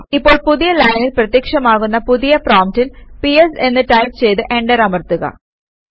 ഇപ്പോൾ പുതിയ ലൈനിൽ പ്രത്യക്ഷമാകുന്ന പുതിയ പ്രോംപ്റ്റിൽ പിഎസ് എന്ന് ടൈപ് ചെയ്ത് എന്റർ അമർത്തുക